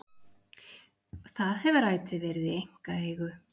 Það hefur ætíð verið í einkaeigu